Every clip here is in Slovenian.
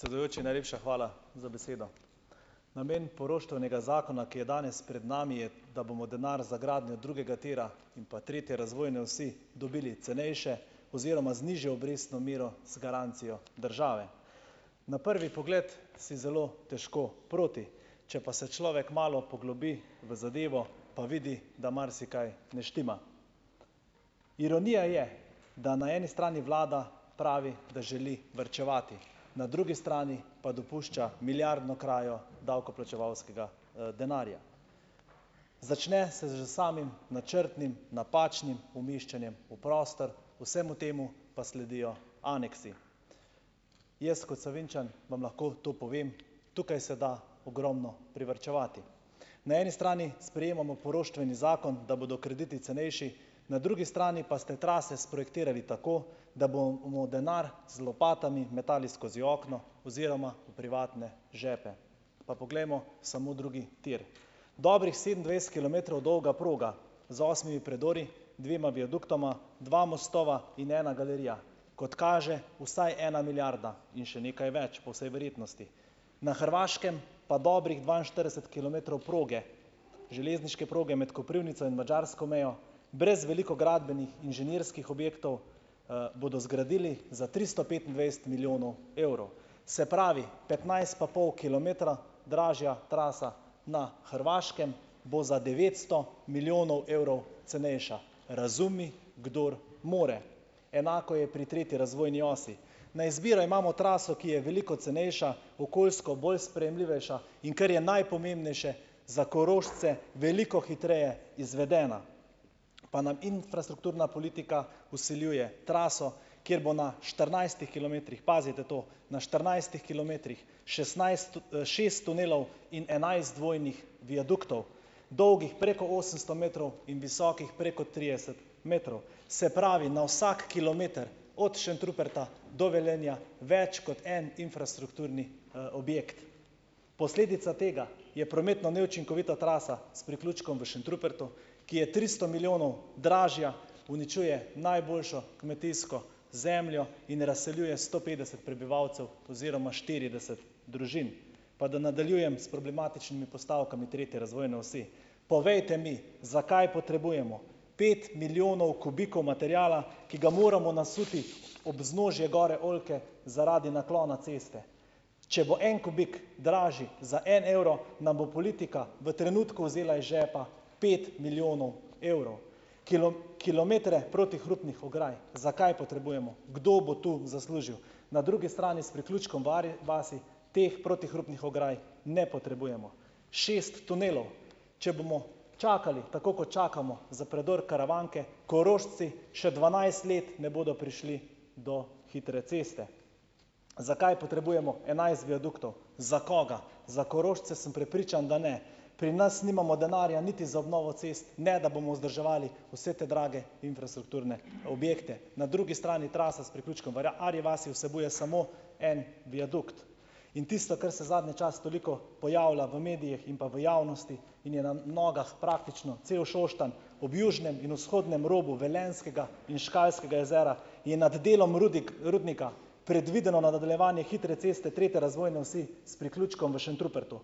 Predsedujoči, najlepša hvala za besedo. Namen poroštvenega zakona, ki je danes pred nami, je da bomo denar za gradnjo drugega tira in pa tretje razvojne osi dobili cenejše oziroma z nižjo obrestno mero z garancijo države. Na prvi pogled si zelo težko proti, če pa še človek malo poglobi v zadevo, pa vidi, da marsikaj ne štima, ironija je, da na eni strani vlada pravi, da želi varčevati, na drugi strani pa dopušča milijardno krajo davkoplačevalskega denarja. Začne se že z samim načrtnim napačnim umeščanjem v prostor, vsemu temu pa sledijo aneksi. Jaz kot Savinjčan vam lahko to povem, tukaj se da ogromno privarčevati, na eni strani sprejemamo poroštveni zakon, da bodo krediti cenejši, na drugi strani pa ste trase sprojektirali tako, da bomo denar z lopatami metali skozi okno oziroma v privatne žepe. Pa poglejmo samo drugi tir, dobrih sedemindvajset kilometrov dolga proga z osmimi predori, dvema viaduktoma, dva mostova in ena galerija, kot kaže vsaj ena milijarda, in še nekaj več, po vsej verjetnosti, na Hrvaškem pa dobrih dvainštirideset kilometrov proge železniške proge med Koprivnico in madžarsko mejo brez veliko gradbenih inženirskih objektov, bodo zgradili za tristo petindvajset milijonov evrov, se pravi petnajst pa pol kilometra dražja trasa na Hrvaškem, bo za devetsto milijonov evrov cenejša, razumi kdor more, enako je pri tretji razvojni osi, na izbiro imamo traso, ki je veliko cenejša, okoljsko bolj sprejemljivejša, in kar je najpomembnejše za Korošce, veliko hitreje izvedena, pa nam infrastrukturna politika vsiljuje traso, kjer bo na štirinajstih kilometrih, pazite to, na štirinajstih kilometrih, šestnajst šest tunelov in enajst dvojnih viaduktov, dolgih preko osemsto metrov in visokih preko trideset metrov, se pravi na vsak kilometer od Šentruperta do Velenja več kot en infrastrukturni, objekt, posledica tega je prometna neučinkovita trasa s priključkom v Šentrupertu, ki je tristo milijonov dražja, uničuje najboljšo kmetijsko zemljo in razseljuje sto petdeset prebivalcev oziroma štirideset družin. Pa da nadaljujem s problematičnimi postavkami tretje razvojne osi. Povejte mi, zakaj potrebujemo pet milijonov kubikov materiala, ki ga moramo nasuti ob vznožje gore oljke zaradi naklona ceste, če bo en kubik dražji za en evro, nam bo politika v trenutku vzela iz žepa pet milijonov evrov kilometre protihrupnih ograj, zakaj potrebujemo, kdo bo tu zaslužil, na drugi strani s priključkom Arje vasi teh protihrupnih ograj ne potrebujemo, šest tunelov, če bomo čakali tako, kot čakamo za predor Karavanke, Korošci še dvanajst let ne bodo prišli do hitre ceste. Zakaj potrebujemo enajst viaduktov, za koga? Za Korošce sem prepričan, da ne, pri nas nimamo denarja niti za obnovo cest, ne da bomo vzdrževali vse te drage infrastrukturne objekte, na drugi strani trasa s priključkom Arji vasi vsebuje samo en viadukt in tisto, kar se zadnje čase toliko pojavlja v medijih in pa v javnosti, in je na nogah praktično cel Šoštanj, ob južnem in vzhodnem robu Velenjskega in Škalskega jezera, ne, nad delom rudnika predvideno nadaljevanje hitre ceste tretje razvojne osi s priključkom v Šentrupertu.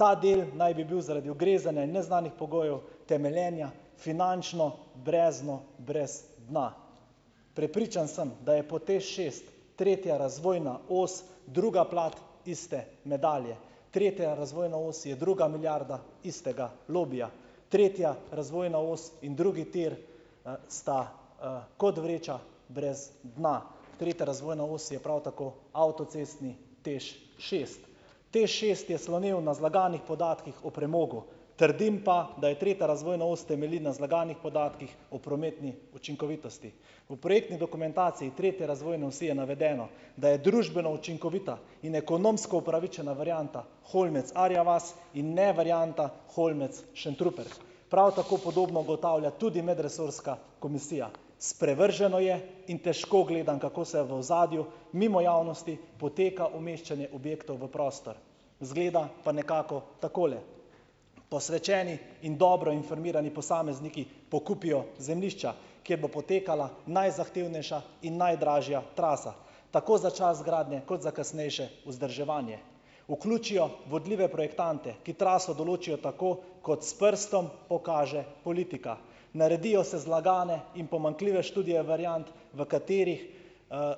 Ta del naj bi bil zaradi ugrezanja in neznanih pogojev temeljenja finančno brezno brez dna, prepričan sem, da je po TEŠ šest tretja razvojna os druga plat iste medalje, tretja razvojna os je druga milijarda istega lobija, tretja razvojna os in drugi tir, sta, kot vreča brez dna, tretja razvojna os je prav tako avtocestni TEŠ šest. TEŠ šest je slonel na zlaganih podatkih o premogu, trdim pa, da je tretja razvojna os temelji na zlaganih podatkih o prometni učinkovitosti, v projektni dokumentaciji tretje razvojne osi je navedeno, da je družbeno učinkovita in je ekonomska upravičena varianta Holmec-Arja vas in ne varianta Holmec- Šentrupert, prav tako podobno ugotavlja tudi medresorska komisija, sprevrženo je, in težko gledam, kako se v ozadju mimo javnosti poteka umeščanje objektov v prostor, izgleda pa nekako takole. Posvečeni in dobro informirani posamezniki pokupijo zemljišča, kjer bo potekala najzahtevnejša in najdražja trasa, tako za čas gradnje kot za kasnejše vzdrževanje vključijo vodljive projektante, ki traso določijo tako, kot s prstom pokaže politika, naredijo se zlagane in pomanjkljive študije variant, v katerih,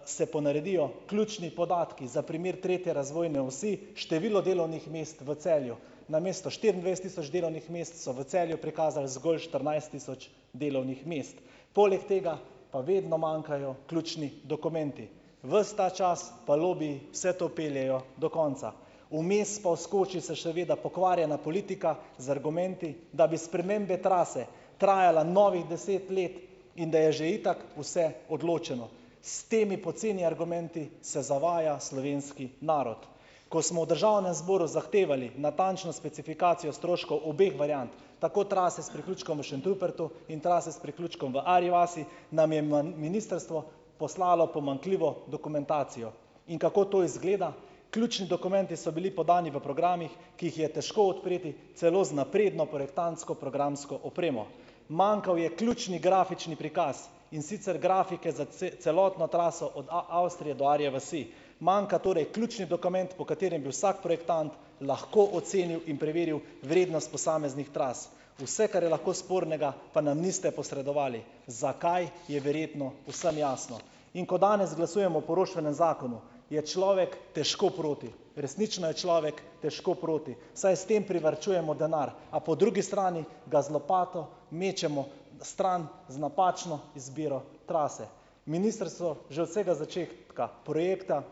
se ponaredijo ključni podatki, za primer tretje razvojne osi število delovnih mest v Celju namesto štiriindvajset tisoč delovnih mest so v Celju prikazali zgolj štirinajst tisoč delovnih mest, poleg tega pa vedno manjkajo ključni dokumenti, ves ta čas pa lobiji vse to peljejo do konca, vmes pa vskoči še seveda pokvarjena politika z argumenti, da bi spremembe trase trajale novih deset let in da je že itak vse odločeno. S temi poceni argumenti se zavaja slovenski narod, ko smo v državnem zboru zahtevali natančno specifikacijo stroškov obeh variant, tako trase s priključkom v Šentrupertu in trase s priključkom v Arji vasi, nam je ministrstvo poslalo pomanjkljivo dokumentacijo. In kako to izgleda? Ključni dokumenti so bili podnevi v programih, ki jih je težko odpreti celo z napredno projektantsko programsko opremo, manjkal je ključni grafični prikaz, in sicer grafike za celotno traso od Avstrije do Arje vasi, manjka torej ključni dokument, po katerem bi vsak projektant lahko ocenil in preveril vrednost posameznih tras, vse, kar je lahko spornega, pa nam niste posredovali. Zakaj, je verjetno vsem jasno, in ko danes glasujemo o poroštvenem zakonu, je človek težko proti, resnično je človek težko proti, saj s tem privarčujemo denar, a po drugi strani ga z lopato mečemo stran z napačno izbiro trase. Ministrstvo že od vsega začetka projekta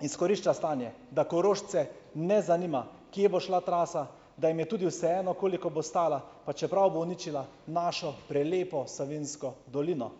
izkorišča stanje, da Korošce ne zanima, kje bo šla trasa, da jim je tudi vseeno, koliko bo stala, pa čeprav bo uničila našo prelepo Savinjsko dolino.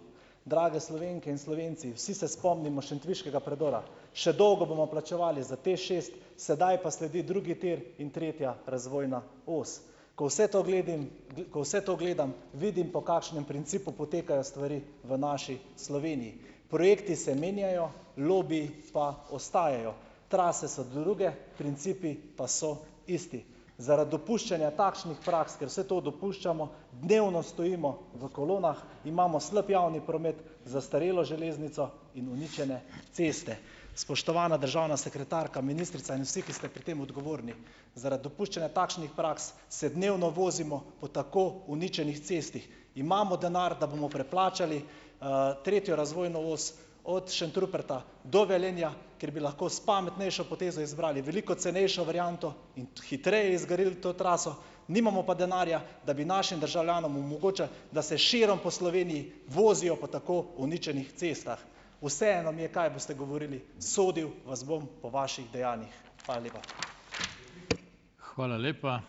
Drage Slovenke in Slovenci, vsi se spomnimo šentviškega predora, še dolgo bomo plačevali za TEŠ šest, sedaj pa sledi drugi tir in tretja razvojna os, ko vse to gledam, ko vse to gledam, vidim po kakšnem principu potekajo stvari v naši Sloveniji, projekti se menjajo, lobiji pa ostajajo, trase so druge, principi pa so isti. Zaradi dopuščanja takšnih praks, ker se to dopuščamo, dnevno stojimo v kolonah, imamo slab javni promet, zastarelo železnico in uničene ceste. Spoštovana državna sekretarka, ministrica in vsi, ki ste pri tem odgovorni, zaradi dopuščanja takšnih praks se dnevno vozimo po tako uničenih cestah, imamo denar, da bomo preplačali, tretjo razvojno os od Šentruperta do Velenja, ker bi lahko s pametnejšo potezo izbrali veliko cenejšo varianto in hitreje zgradili to traso nimamo pa denarja, da bi našim državljanom omogočili, da se širom po Sloveniji vozijo po tako uničenih cestah. Vseeno mi je, kaj boste govorili, sodil vas bom po vaših dejanjih. Hvala lepa.